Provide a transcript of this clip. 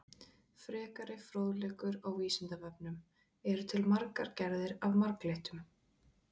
Frekari fróðleikur á Vísindavefnum: Eru til margar gerðir af marglyttum?